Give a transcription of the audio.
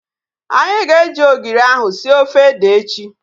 Anyị ga-eji ogiri ahu sie ofe ede echi